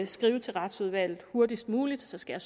skriver til retsudvalget hurtigst muligt så skal